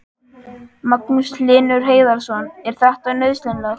Magnús Hlynur Hreiðarsson: Er þetta nauðsynlegt?